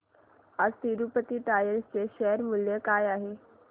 आज तिरूपती टायर्स चे शेअर मूल्य काय आहे